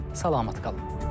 Sağ olun, salamat qalın.